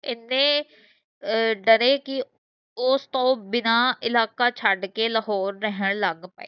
ਏਨੇ ਅਹ ਡਰੇ ਕਿ ਉਸ ਤੋਂ ਬਿਨਾ ਇਲਾਕਾ ਛਡ ਕੇ ਲਾਹੌਰ ਲਗ ਪਏ